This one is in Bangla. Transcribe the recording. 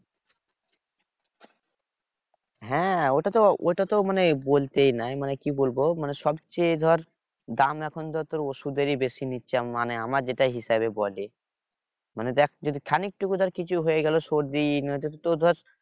হ্যাঁ ওটা তো ওটা তো মানে বলতেই নাই মানে কি বলবো মানে সবচেয়ে ধর দাম এখন ধর ওষুধেরই বেশি নিচ্ছে মানে আমার যেটা হিসেবে বলে মানে দেখ যদি খানিক টুকু ধর কিছু হয়ে গেল সর্দি নয়তো তো ধর